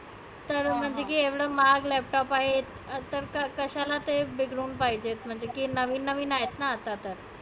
तर म्हणते की एवढा महाग laptop आहेत. त तर कशाला ते बिघडुन पाहीजेत. म्हणजे नविन नविन आहेत ना आता तर.